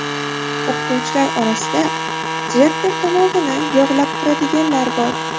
O‘qituvchilar orasida direktor tomog‘ini yog‘lab turadiganlar bor.